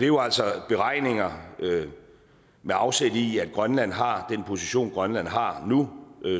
jo altså beregninger med afsæt i at grønland har den position grønland har nu